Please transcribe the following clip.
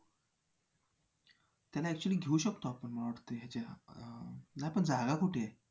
त्यांना actually घेऊ शकतो आपण मला वाटतंय ह्याच्यात अं नाही पण जागा कुठे आहे.